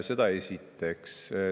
Seda esiteks.